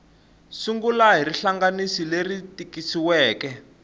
sungula hi rihlanganisi leri tikisiweke